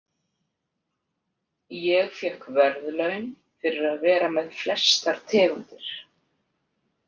Ég fékk verðlaun fyrir að vera með flestar tegundir.